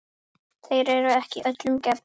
Þeir eru ekki öllum gefnir.